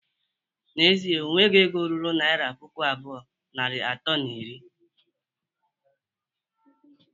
N'ezie, o nwere ego ruru naira puku abụọ, narị atọ na iri